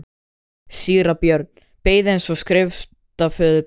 Síra Björn beið eins og skriftaföður bar.